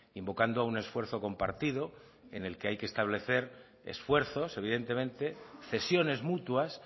invocando a un esfuerzo compartido en el que hay que establecer esfuerzos evidentemente cesiones mutuas